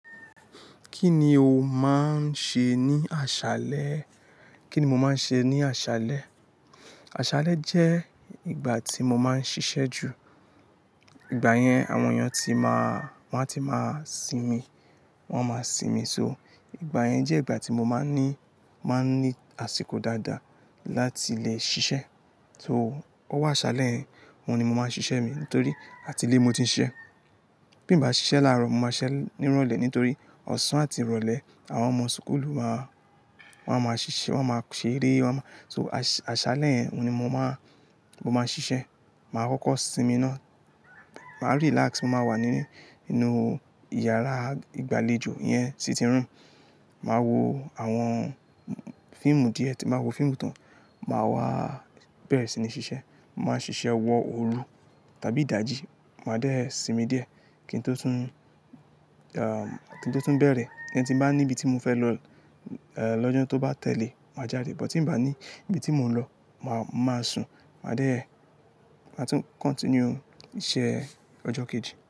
Kí ni o máa ń ṣe ní aṣálẹ́? Kí ni mo máa ń ṣe ní aṣálẹ́? Aṣálẹ́ jẹ́ ìgbà tí mo máa ń ṣiṣẹ́ jù. Ìgbà yẹn àwọn èèyàn ti máa, wọ́n á ti máa sinmi. Wọ́n a máa sinmi só. Ìgbà yẹn jẹ́ ìgbà tí mo máa ń ní, máa ń ní àsìkò dáadáa láti lè ṣiṣẹ́. So, owó aṣálẹ́ yẹn oun nì mo máa ń ṣiṣẹ́ mi nítorí àti ilé mo ti ń ṣiṣẹ́. Bí mo bá ṣiṣẹ́ láàárọ̀, mo máa ṣiṣẹ́ nírọ̀lẹ́ nítorí ọ̀sán àti ìrọ̀lẹ́ àwọn ọmọ schoolu máa, wọn a máa ṣiṣẹ́, wọ́n a máa ṣe eré, wọ́n a máa-- so aṣálẹ́ yẹn nì mo máa, mo máa ṣiṣẹ́. Mà á kọ́kọ́ sinmi ná. Mà á relax. Mo máa wà nínú, nínú ìyàrá ìgbàlejò iyen sitting room. Mà á wo àwọn fíìmù díẹ̀, tí nba wo fíìmù tán, mà á wá bẹ̀rẹ̀ sí ní ṣiṣẹ́. Mà á ṣiṣẹ́ wọ òru tàbí ìdajì. Mà á dé sinmi díẹ̀ kí n tó tún, ẹm, kí n tó tún bẹ̀rẹ̀. Tin bá níbi tí mo fẹ́ lọ lọ́jọ́ tó bá tẹ̀lé, mà á jáde. But ti n bá ní ibi tí mò ń lọ, mà á, mà á sùn. Mà á dé, mà á tún continue iṣẹ́ ọjọ́ kejì.